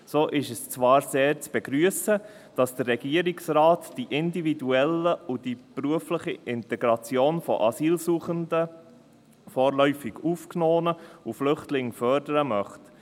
So ist zwar sehr zu begrüssen, dass der Regierungsrat die individuelle und die berufliche Integration von Asylsuchenden, vorläufig Aufgenommenen und Flüchtlingen fördern möchte.